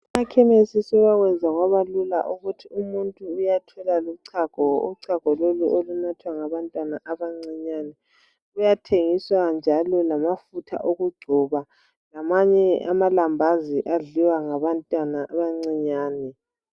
Abemakhesi sebakwenza kwabalula, ukuthi umuntu uyathola lochago. Uchago lolu, olunathwa ngabantwana abancinyane. Kuyathengiswa njalo lamafutha okugcoba, kanye lamanye amalambazi, adliwa ngabantwana, abancinyane.